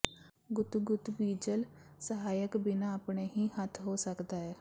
ਗੁੱਤ ਗੁੱਤ ਬੀਜ਼ਲ ਸਹਾਇਕ ਬਿਨਾ ਆਪਣੇ ਹੀ ਹੱਥ ਹੋ ਸਕਦਾ ਹੈ